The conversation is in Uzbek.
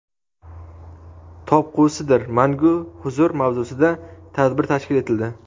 topqusidir mangu huzur mavzusida tadbir tashkil etildi.